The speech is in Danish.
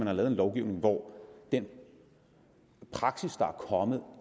har lavet en lovgivning hvor den praksis der er kommet